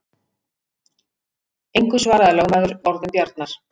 Engu svaraði lögmaður orðum Bjarnar.